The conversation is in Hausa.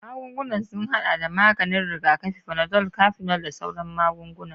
Magungunan sun haɗa da maganin rigakafi, panadol, cafenol, da sauran magunguna.